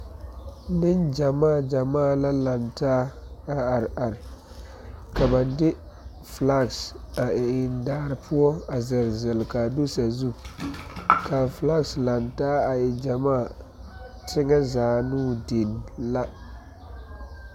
Niŋgyɛmaa la laŋtaa a are. Filakere la ka ba de eŋ daarepʋɔ a zɛge kaa do. Teŋɛ zaa ne o filake la be a kyɛ.